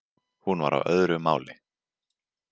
Hún var á öðru máli.